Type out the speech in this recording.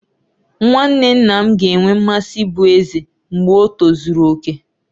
Nwanne nna m ga-enwe mmasị ịbụ eze mgbe o tozuru oke